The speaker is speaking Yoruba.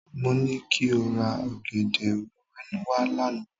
Mo ní kí o ra ọ̀gẹ̀dẹ̀ wẹ́wẹ́ wá lánàá.